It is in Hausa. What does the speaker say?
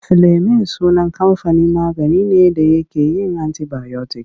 Filemin sunan kamfanin magani ne da yake yin antibayotik.